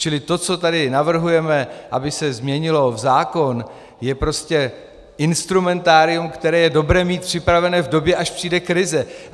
Čili to, co tady navrhujeme, aby se změnilo v zákon, je prostě instrumentárium, které je dobré mít připravené v době, až přijde krize.